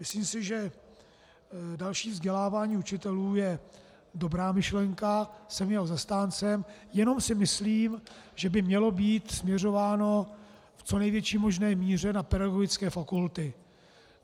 Myslím si, že další vzdělávání učitelů je dobrá myšlenka, jsem jejím zastáncem, jenom si myslím, že by mělo být směřováno v co největší možné míře na pedagogické fakulty.